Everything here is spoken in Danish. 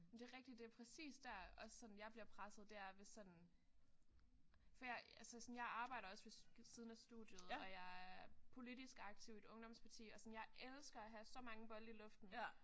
Men det er rigtigt det er præcis der også sådan jeg bliver presset det er hvis sådan for jeg altså sådan jeg arbejder også ved siden af studiet og jeg er politisk aktiv i et ungdomsparti og sådan jeg elsker at have så mange bolde i luften